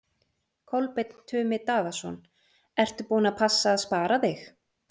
Kolbeinn Tumi Daðason: Ertu búin að passa að spara þig?